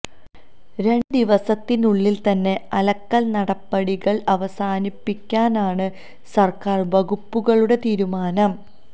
രണ്ട് ദിവസത്തിനുള്ളില് തന്നെ അളക്കല് നടപടികള് അവസാനിപിക്കാനാണ് സര്ക്കാര് വകുപ്പുകളുടെ തീരുമാനം